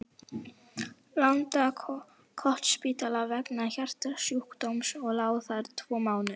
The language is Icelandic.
Landakotsspítala vegna hjartasjúkdóms og lá þar tvo mánuði.